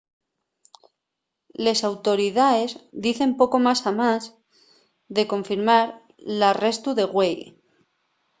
les autoridaes dicen poco más amás de confirmar l’arrestu de güei